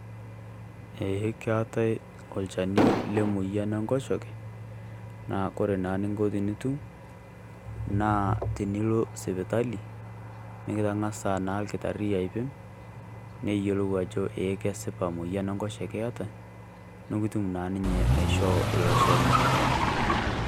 Ee keetae olchani lemoyian Enkoshoke, naa kore naa ening'o tenitum naa tening'as alo sipitali mikitang'asa naa olkitarri aipim, neyiolou ajo ee kesipa emoyian Enkoshoke eata nikitum naa ninye aishoo ilo Shani.